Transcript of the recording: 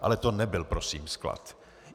Ale to nebyl prosím sklad.